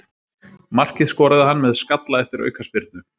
Markið skoraði hann með skalla eftir aukaspyrnu.